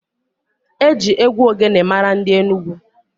Eji egwu ogene mara ndị Enugwu.